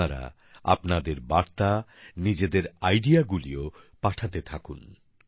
আপনারা আপনাদের বার্তা নিজের আইডিয়াগুলিও পাঠাতে থাকুন